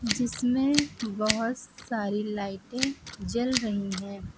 जिसमें बहुत सारी लाइटें जल रही हैं।